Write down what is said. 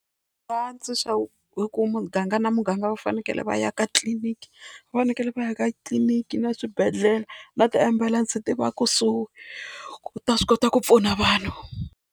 Va tsundzuxa hi ku muganga na muganga va fanekele va ya ka tliliniki. Va fanekele va ya ka titliliniki na swibedhlele na tiambulense ti va kusuhi ku ta swi kota ku pfuna vanhu.